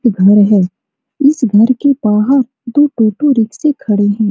ये घर है इस घर के बाहर दो टोटो रिक्शे खड़े हैं।